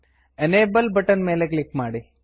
enable enable button ಮೇಲೆ click ಮಾಡಿ